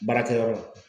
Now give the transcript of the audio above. Baarakɛyɔrɔ la